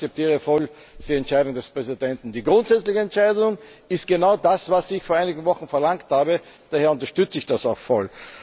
Aber ich akzeptiere die Entscheidung des Präsidenten voll. Die grundsätzliche Entscheidung ist genau das, was ich vor einigen Wochen verlangt habe, daher unterstütze ich das auch voll!